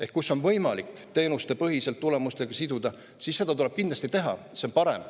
Ehk kui on võimalik teenuste põhiselt tulemustega siduda, siis tuleb seda kindlasti teha, see on parem.